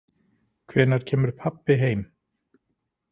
Hvenær kemur pabbi heim?